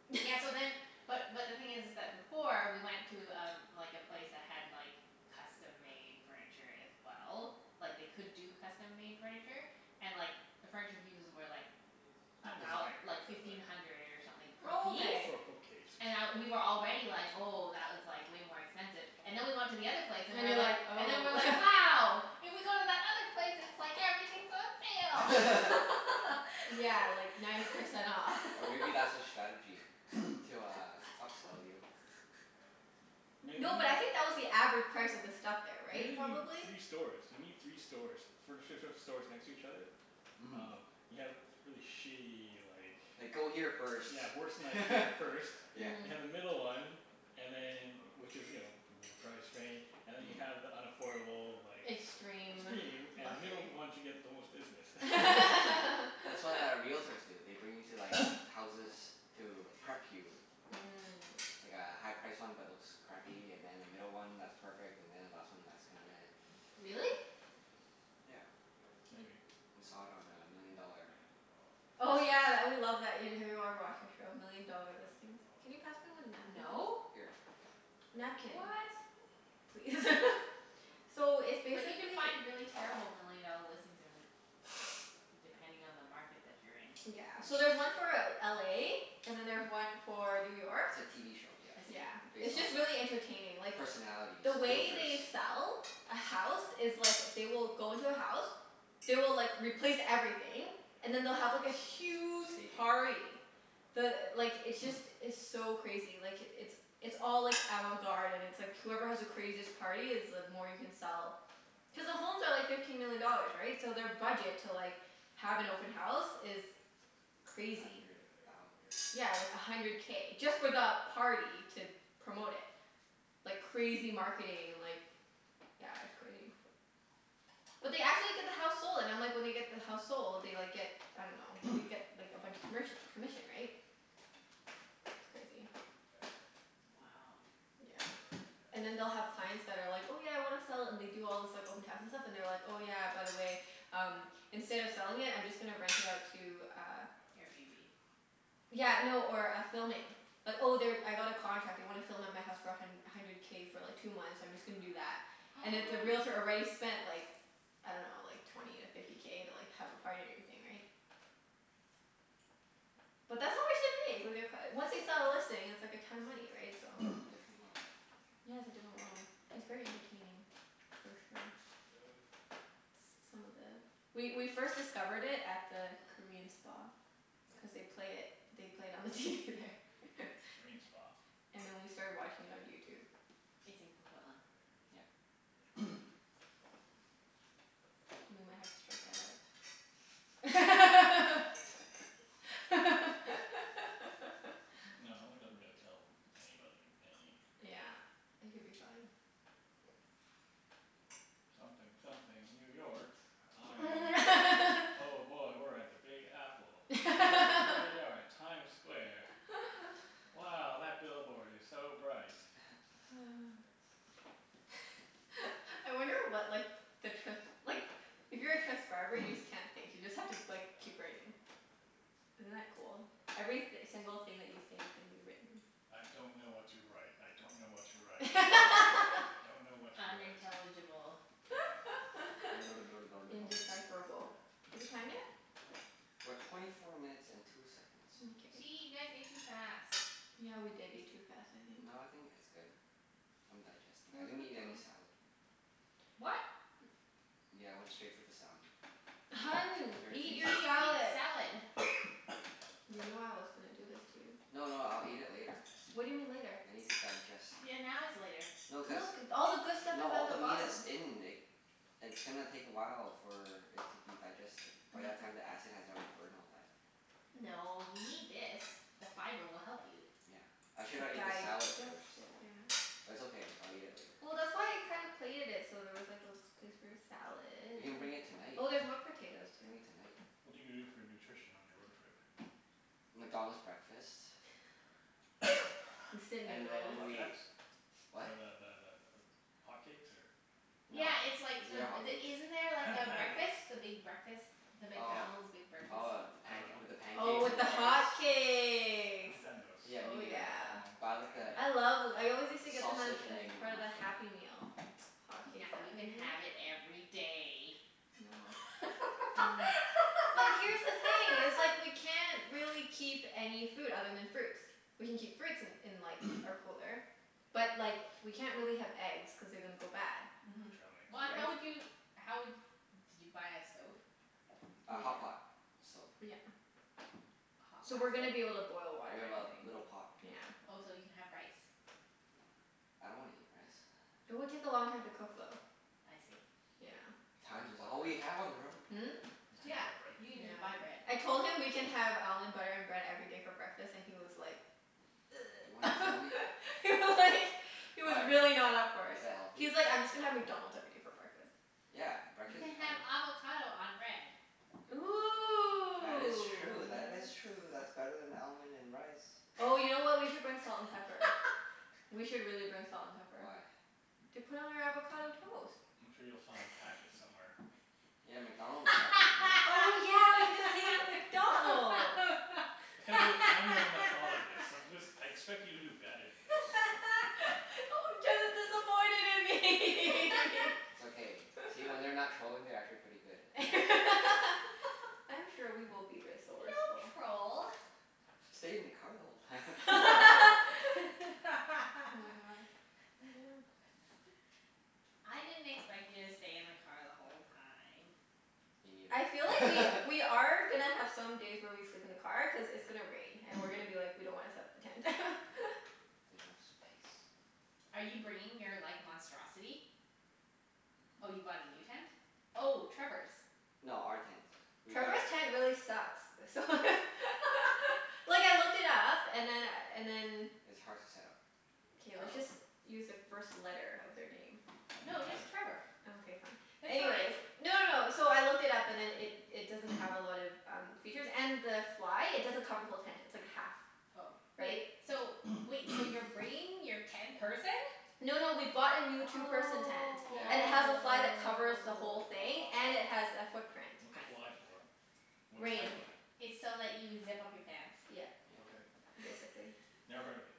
Yeah, so then, but but the thing is is that before we went to um like a place that had like custom-made furniture as well. Like they could do custom-made furniture, and like the furniture pieces were like Not a thou- designer, like but like fifteen hundred or something Oh, per okay. For a piece. bookcase. And I, we were already like, "Oh, that was like way more expensive." And then we went to the other And you're place and like, we were "Oh." like and then we were like, "Wow!" If we go to that Yeah, other like ninety place percent off. Or it's maybe that's their like strategy everything's to uh on upsell you? sale. Maybe. No, but I think that was the average price of the stuff there, right? Maybe you need Probably? three stores? You need three stores. Furniture sh- stores next to each other? Mhm. Oh, you have really shitty like Like go here first, Yeah, worse than IKEA first. yeah. You Mhm. have the middle one And then, which is you know, middle price rain And then you have the unaffordable like Extreme. Extreme. And the middle Luxury. one to get the most business. That's what uh realtors do. They bring you to like houses to prep you. Mm. Like a high-priced one but looks crappy, and then a middle one that's perfect, and then a last one that's kind of Really? Yeah. Maybe. We saw it on uh Million Dollar Oh Listings. yeah, tha- we love that, have you ever watched that show? Million Dollar Listings. Can you pass me one napkin, No. please? Here. What? Napkin please. So, it's But you can basically find really terrible million dollar listings in, depending on the market that you're in. Yeah. So there's one for L- LA and then there's one for New York. It's a TV show, yeah. I Yeah. see. Based It's on just really entertaining. uh Like personalities. The way Realtors. they sell a house is like, they will go into a house. They will like, replace everything, and then they'll have like a huge Staging. party. The, like, it's just, it's so crazy. Like, it's it's all like avant-garde and it's like whoever has the craziest party is the more you can sell. Cuz the homes are like fifteen million dollars, right? So their budget to like, have an open house is A crazy. hundred thousand. Yeah, like a hundred K, just for the party to promote it. Like crazy marketing and like yeah, it's crazy. But they actually get the house sold, and I'm like, when they get the house sold they like get, I dunno, they get like a bunch of commerc- commission, right? It's crazy. Wow. Yeah. And then they'll have clients that are like, "Oh yeah, I wanna sell it," and they do all this like open house and stuff, and they're like, "Oh yeah, by the way, um instead of selling it I'm just gonna rent it out to uh" Airbnb? Yeah, no, or a filming. Like, "Oh they, I got a contract. They wanna film at my house for a hun- hundred K for like two months. I'm just gonna do that." And if the realtor already spent like, I dunno, like twenty to fifty K to like have a party and everything, right? But that's how much they make. Like they're c- once they sell a listing it's like a ton of money, right? So Different world. Yeah, it's a different world. It's very entertaining for sure. S- some of the, we we first discovered it at the Korean spa. Cuz Mhm, yes. they'd play it, they played it on the TV there. Korean spa? And then we started watching it on YouTube. It's in Coquitlam. Yep. We might have to strike that out. No, it doesn't really tell anybody any thing. Yeah. It could be fine. Something something New York. I'm, oh boy, we're at the Big Apple. H- here we are at Times Square. Wow, that billboard is so bright. I wonder what like the trans- like, if you're a transcriber you just can't think. You just have to like keep writing. Isn't that cool? Every th- single thing that you say is gonna be written. I don't know what to write. I don't know what to write. I don't know what to write. I don't know what to write. Unintelligible. Indecipherable. Is it time yet? We're twenty four minutes and two seconds. Gee, Mkay. you guys ate too fast. Yeah, we did eat too fast, I think. No, I think it's good. I'm digesting. That I was didn't quick eat any though. salad. What? Yeah, I went straight for the salmon. It was Hun, very eat tasty. your You need to salad. eat salad. You know I was gonna do this to you. No, no, I'll eat it later. What do you mean, later? I need to digest. Yeah, now is later. No Look. cuz, All the good stuff no is all at the the meat bottom. is in It's gonna take a while for it to be digested. By that time the acid has already burned all that. No, you need this. The fiber will help you. Yeah. I shoulda ate the salad Digest first. it, yeah. But it's okay. I'll eat it later. Well, that's why I kinda plated it so there was like a place for your salad. We can bring it tonight. Oh, there's more potatoes, too. Bring it tonight. What are you gonna do for nutrition on your road trip? McDonald's breakfast. Instant And then noodles. we, Flapjacks? what? Or the the the th- hotcakes or No. Yeah it's like, Is it a the the, hotcakes? isn't there a I haven't had those. breakfast? The big breakfast? The Oh. McDonald's big breakfast? Oh the I panc- dunno. with the Oh, pancakes with and the the eggs? I hotcakes. haven't had those for Yeah, me Oh neither. a yeah. long Buy like the time. I love th- I always used to get them as sausage and as egg part of the McMuffin. Happy Meal. Hotcakes Now you Happy can Meal. have it every day. No. Mm. But here's the thing, it's like we can't really keep any food other than fruits. We can keep fruits in in like, our cooler. But, like, we can't really have eggs cuz they're gonna go bad. Mhm. Trail mix. But Right? how would you, how would, did you buy a stove? A Yeah. hotpot stove. Yeah. A hot So pot we're gonna be able to stove? boil water We and have a everything. little pot. Yeah. Oh, so you can have rice. I don't wanna eat rice. It would take a long time to cook, though. I see. Yeah. You'll have Time to is buy all we bread. have on the road. Hmm? You still need Yeah, buy you bread. can Yeah. j- buy bread. I told him we can have almond butter and bread every day for breakfast and he was like You wanna kill me? He was like He was Why, really not up for is it. that healthy? He was like, "I'm just gonna have McDonald's every day for breakfast." Yeah, You breakfast can is fine. have avocado on bread. That Ooh, is true. That is true. yes. That's better than almond and rice. Oh you know what? We could bring salt and pepper. We should really bring salt and pepper. Why? To put on our avocado toast. I'm sure you'll find packets somewhere. Yeah, McDonald's packet, you know? Oh yeah, we can just take it from McDonald's. I can't believe I'm the one that thought of this. I- this, I expect you to do better than this. Oh, Jeff is disappointed in me. It's okay. See? When they're not trolling they're actually pretty good and nice. I'm sure we will be We resourceful. don't troll. "Stayed in the car the whole time." Oh my god, yeah. I didn't expect you to stay in the car the whole time. Me I feel like we neither. we are gonna have some days where we sleep in the car, cuz it's gonna rain and we're gonna be like, "We don't wanna set up the tent." There's no space. Are you bringing your like monstrosity? Oh, you bought a new tent? Oh, Trevor's. No, our tent. We gotta Trevor's tent really sucks. So Like, I looked it up and then and then It's hard to set up. K, let's just Oh. use the first No, letter of their name. just It don't matter. Trevor. Okay, fine. It's Anyways fine. No, no, no. So I looked it up and then it it doesn't have a lot of um features. And the fly, it doesn't cover the whole tent. It's like a half Oh. Wait, Right? so wait. So you're bringing your ten-person? No, no, we bought a new Oh. two-person tent. And it has a Yeah fly that covers the whole thing. And it has a footprint. What's a fly I see. for? What is a Rain. Tighten. fly? It's so that you zip up your pants. Yeah. Yep. Okay. Basically. Never heard of it.